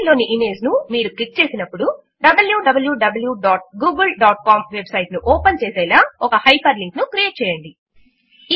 file లోని image ను మీరు క్లిక్ చేసినప్పుడు wwwgooglecom వెబ్ సైట్ ను ఓపెన్ చేసేలా ఒక హైపర్ లింక్ ను క్రియేట్ చేయండి